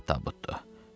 Rahat tabutdur.